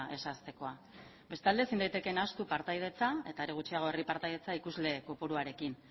ez ahaztekoa bestalde ezin daiteke nahastu partaidetza eta are gutxiago herri partaidetza ikusle kopuruarekin